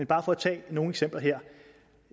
bare for at tage nogle eksempler her